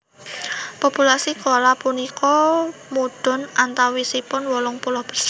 Populasi koala punika mudhun antawisipun wolung puluh persen